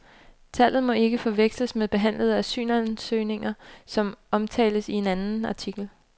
Tallet må ikke forveksles med behandlede asylansøgninger, som omtales i en anden artikel.